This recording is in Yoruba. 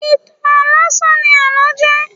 Ìtàn láásán ní àlọ́ jẹ́.